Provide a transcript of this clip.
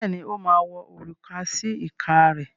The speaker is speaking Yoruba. Bẹ́ẹ̀ ni, ó máa wọ òrùka sí ìka rẹ̀.